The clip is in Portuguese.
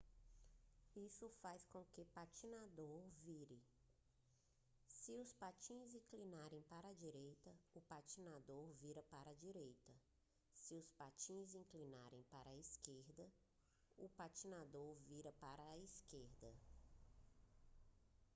isso faz com que o patinador vire se os patins inclinarem para a direita o patinador vira para a direita se os patins inclinarem para a esquerda o patinador vira para a esquerda